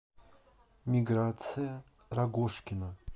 миграция рогожкина